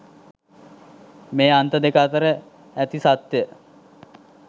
මේ අන්ත දෙක අතර ඇති සත්‍යය